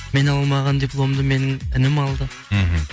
мен алмаған дипломды менің інім алды мхм